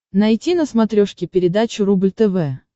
найти на смотрешке передачу рубль тв